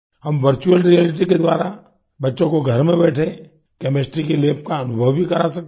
हम virtual reality के द्वारा बच्चों को घर में बैठे केमिस्ट्री की लैब का अनुभव भी करा सकते हैं